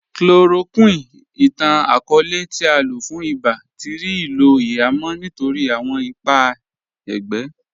Chloroquine, ìtàn-akọọlẹ̀ tí à lọ fún ìbá, tí rí ilò ihamọ̀̀ nítorí awọn ìpà ègbé.